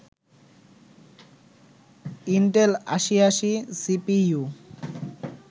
Intel ৮০৮০ CPU